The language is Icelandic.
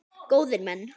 Góðir menn!